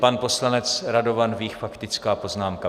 Pan poslanec Radovan Vích - faktická poznámka.